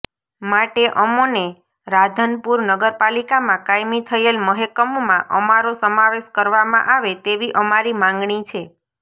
માટે અમોને રાધનપુર નગરપાલીકામાં કાયમી થયેલ મહેકમમાં અમારો સમાવેશ કરવામાં આવે તેવી અમારી માંગણી છે